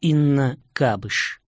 инна кабыш